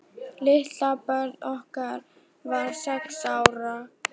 Litla barnið okkar var sex ára.